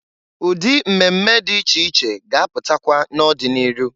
Ụdị mmemme dị iche iche ga-apụtakwa n'ọdị n'iru.